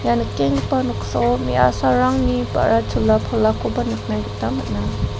ia nikenggipa noksao me·asarangni ba·ra chola palakoba nikna gita man·a.